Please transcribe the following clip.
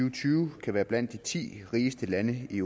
og tyve kan være blandt de ti rigeste lande i